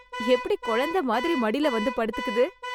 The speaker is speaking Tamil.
எப்படி குழந்தை மாதிரி மடில வந்து படுத்துக்குது.